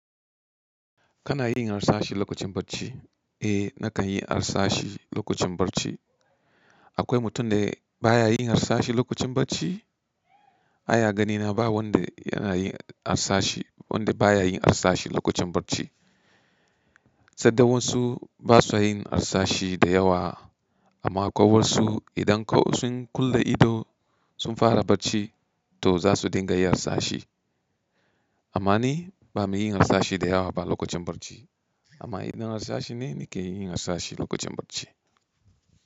Kana yin harsashi lokacin bacci? Eh nakan yi harsashi lokacin barci. Akwai mutum da ba ya yin harsashi lokacin bacci? Ai a ganina ba wanda yana yin harsashi, wanda ba ya yin harsashi lokacin bacci. Sadai wasu ba su yin harsashi da yawa amma ko wasu idan sun kulle ido sun fara bacci to za su dinga yin harsashi. Amma ni ba me yin harsashi da yawa ba lokacin bacci. Amma idan harsashi ne ni ke yin harsashi lokacin bacci.